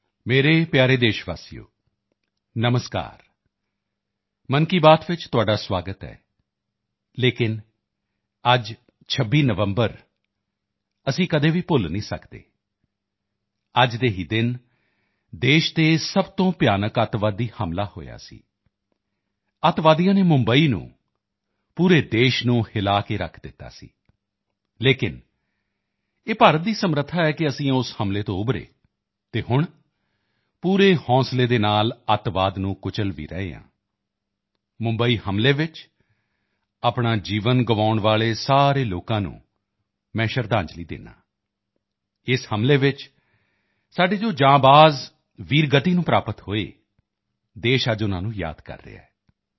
ਮੇਰੇ ਪਿਆਰੇ ਦੇਸ਼ਵਾਸੀਓ ਨਮਸਕਾਰ ਮਨ ਕੀ ਬਾਤ ਵਿੱਚ ਤੁਹਾਡਾ ਸੁਆਗਤ ਹੈ ਲੇਕਿਨ ਅੱਜ 26 ਨਵੰਬਰ ਅਸੀਂ ਕਦੇ ਵੀ ਭੁੱਲ ਨਹੀਂ ਸਕਦੇ ਹਾਂ ਅੱਜ ਦੇ ਹੀ ਦਿਨ ਦੇਸ਼ ਤੇ ਸਭ ਤੋਂ ਭਿਆਨਕ ਆਤੰਕਵਾਦੀ ਹਮਲਾ ਹੋਇਆ ਸੀ ਆਤੰਕਵਾਦੀਆਂ ਨੇ ਮੁੰਬਈ ਨੂੰ ਪੂਰੇ ਦੇਸ਼ ਨੂੰ ਹਿਲਾ ਕੇ ਰੱਖ ਦਿੱਤਾ ਸੀ ਲੇਕਿਨ ਇਹ ਭਾਰਤ ਦੀ ਸਮਰੱਥਾ ਹੈ ਕਿ ਅਸੀਂ ਉਸ ਹਮਲੇ ਤੋਂ ਉੱਭਰੇ ਅਤੇ ਹੁਣ ਪੂਰੇ ਹੌਂਸਲੇ ਦੇ ਨਾਲ ਆਤੰਕ ਨੂੰ ਕੁਚਲ ਭੀ ਰਹੇ ਹਾਂ ਮੁੰਬਈ ਹਮਲੇ ਵਿੱਚ ਆਪਣਾ ਜੀਵਨ ਗਵਾਉਣ ਵਾਲੇ ਸਾਰੇ ਲੋਕਾਂ ਨੂੰ ਮੈਂ ਸ਼ਰਧਾਂਜਲੀ ਦਿੰਦਾ ਹਾਂ ਇਸ ਹਮਲੇ ਵਿੱਚ ਸਾਡੇ ਜੋ ਜਾਂਬਾਜ਼ ਵੀਰਗਤੀ ਨੂੰ ਪ੍ਰਾਪਤ ਹੋਏ ਦੇਸ਼ ਅੱਜ ਉਨ੍ਹਾਂ ਨੂੰ ਯਾਦ ਕਰ ਰਿਹਾ ਹੈ